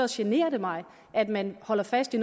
generer det mig at man holder fast i